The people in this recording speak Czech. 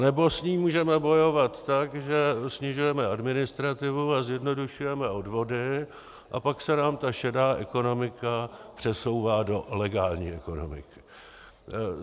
Anebo s ní můžeme bojovat tak, že snižujeme administrativu a zjednodušujeme odvody, a pak se nám ta šedá ekonomika přesouvá do legální ekonomiky.